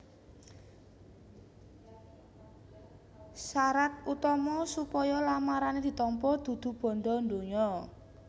Sarat utama supaya lamarané ditampa dudu bandha donya